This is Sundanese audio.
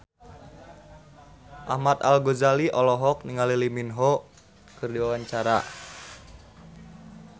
Ahmad Al-Ghazali olohok ningali Lee Min Ho keur diwawancara